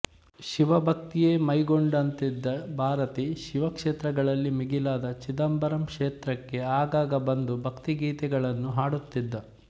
ಶಿವಭಕ್ತಿಯೇ ಮೈಗೊಂಡಂತಿದ್ದ ಭಾರತಿ ಶಿವಕ್ಷೇತ್ರಗಳಲ್ಲಿ ಮಿಗಿಲಾದ ಚಿದಂಬರಂ ಕ್ಷೇತ್ರಕ್ಕೆ ಆಗಾಗ ಬಂದು ಭಕ್ತಿಗೀತಗಳನ್ನು ಹಾಡುತ್ತಿದ್ದ